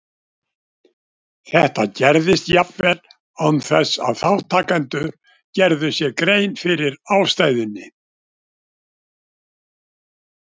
Þetta gerðist jafnvel án þess að þátttakendur gerðu sér grein fyrir ástæðunni.